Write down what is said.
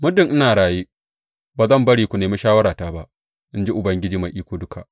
Muddin ina raye, ba zan bari ku nemi shawarata ba, in ji Ubangiji Mai Iko Duka.’